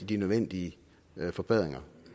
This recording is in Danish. de nødvendige forbedringer